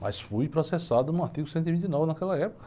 Mas fui processado no artigo cento e vinte e nove naquela época.